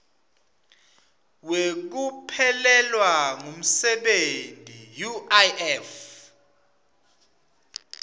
wekuphelelwa ngumsebenti uif